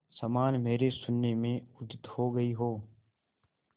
समान मेरे शून्य में उदित हो गई हो